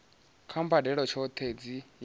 kha mbadelo tshohe dzi yelanaho